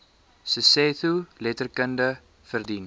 sesotho letterkunde verdien